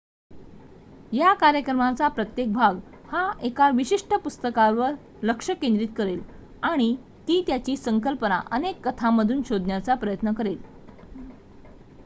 या कार्यक्रमाचा प्रत्येक भाग हा एका विशिष्ट पुस्तकावर लक्ष केंद्रित करेल आणि ती संकल्पना अनेक कथांमधून शोधण्याचा प्रयत्न करेल